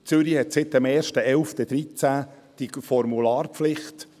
Zürich hat seit dem 1. November 2013 die Formularpflicht.